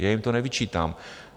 Já jim to nevyčítám.